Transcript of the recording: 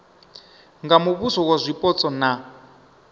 nga muvhuso wa zwipotso na